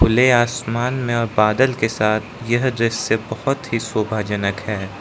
खुले आसमान में और बादल के साथ यह दृश्य बहोत ही शोभा जनक है।